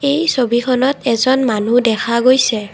এই ছবিখনত এজন মানুহ দেখা গৈছে।